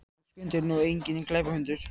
En Skundi er nú enginn glæpahundur.